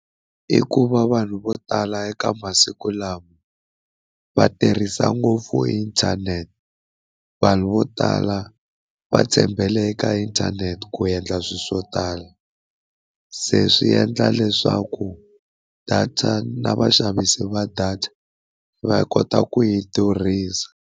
I ku va vanhu vo tala eka masiku lawa va tirhisa ngopfu inthanete, vanhu vo tala va tshembele eka inthanete ku endla swilo swo tala, se swi endla leswaku data na vaxavisi va data va kota ku yi durhisa.